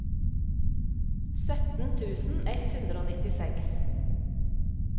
sytten tusen ett hundre og nittiseks